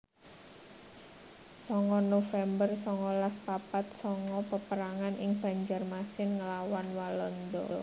songo november songolas papat sanga Peperangan ing Banjarmasin nglawan Walanda